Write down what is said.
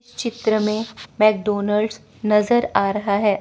चित्र में मैकडोनाल्ड नजर आ रहा है।